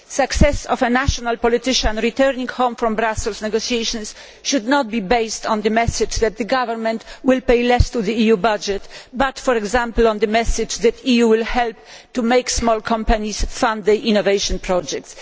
The success of a national politician returning home from Brussels negotiations should not be based on the message that the government will pay less to the EU budget but, for example, on the message that the EU will help to make small companies fund innovation projects.